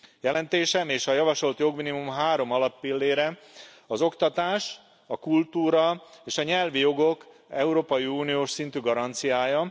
Jelentésem és a javasolt jogminimum három alappillére az oktatás, a kultúra és a nyelvi jogok európai uniós szintű garanciája.